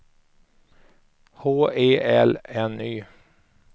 H E L N Y